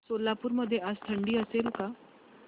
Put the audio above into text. सोलापूर मध्ये आज थंडी असेल का